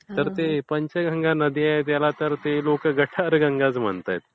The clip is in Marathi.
तर ते पंचगंगा नदी आहे त्याला तर लोक गटारगंगाच म्हणतायत.